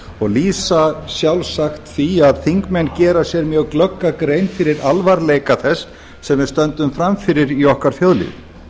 og lýsa sjálfsagt því að þingmenn gera sér mjög glögga grein fyrir alvarleika þess sem við stöndum frammi fyrir í okkar þjóðlífi